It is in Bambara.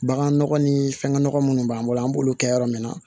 Bagan nɔgɔ ni fɛngɛnɔgɔ munnu b'an bolo an b'olu kɛ yɔrɔ min na